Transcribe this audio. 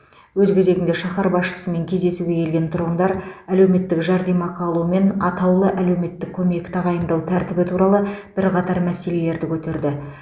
өз кезегінде шаһар басшысымен кездесуге келген тұрғындар әлеуметтік жәрдемақы алу мен атаулы әлеуметтік көмек тағайындау тәртібі туралы бірқатар мәселелерді көтерді